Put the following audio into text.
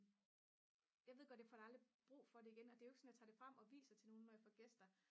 jeg ved godt at jeg får aldrig brug for det igen og det er jo ikke sådan at jeg tager det frem og viser til nogen når jeg får gæster